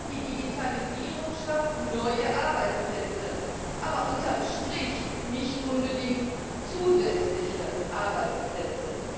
Ja, die Digitalisierung schafft neue Arbeitsplätze, aber unter dem Strich nicht unbedingt zusätzliche Arbeitsplätze.